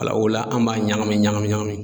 Ala o la an b'a ɲagami ɲagami ɲagami.